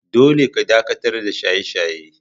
Dolle ka dakatar da shaye-shaye!